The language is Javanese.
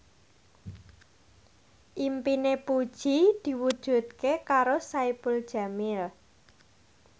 impine Puji diwujudke karo Saipul Jamil